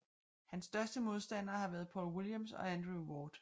Hans største modstandere har været Paul Williams og Andre Ward